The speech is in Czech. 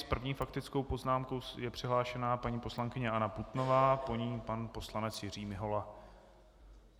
S první faktickou poznámkou je přihlášena paní poslankyně Anna Putnová, po ní pan poslanec Jiří Mihola.